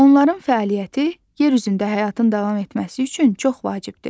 Onların fəaliyyəti yer üzündə həyatın davam etməsi üçün çox vacibdir.